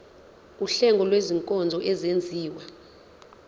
wuhlengo lwezinkonzo ezenziwa